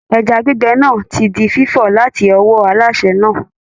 Ẹja gbígbẹ náà ti di fífọ̀ láti ọwọ́ alásè náà.